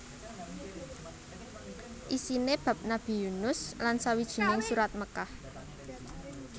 Isiné bab Nabi Yunus lan sawijining Surat Mekkah